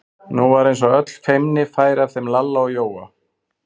Nú var eins og öll feimni færi af þeim Lalla og Jóa.